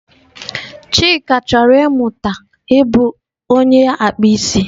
Chika chọrọ ịmụta ịbụ onye akpụ isi